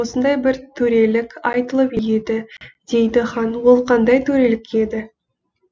осындай бір төрелік айтылып еді дейді хан ол қандай төрелік еді